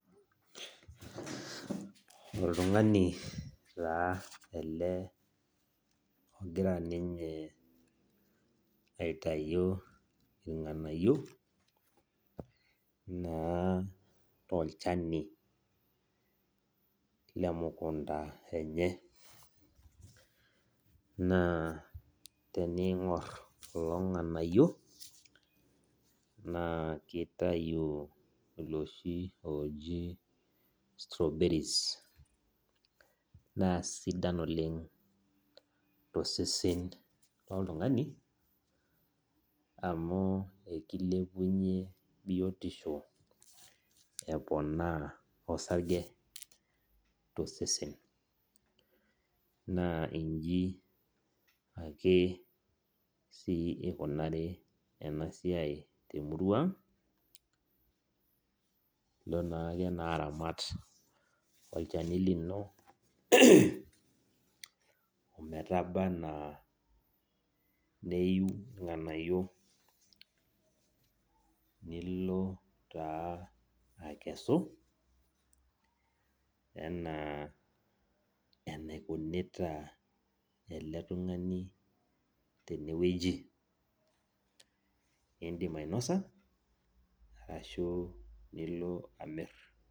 Oltungani taa ele ogira ninye aitau irnganayio na tolchani lemukunda enye na teningur kulo nganayio na kitau loshi oji strawberries na sidia oleng tosesen loltungani amu akilepunye biotisho eponaa osarge tosesen na nji ake ikunari enasiai temurua aang ilo ake aramat olchani lino metabaa anaa neyiu irnganayio nilo taa ena akesu ana enikunita ele tungani tenewueji, indim ainosa arashu nilo amir.